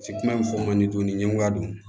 kuma bɛ fɔ man di ɲɛgoya don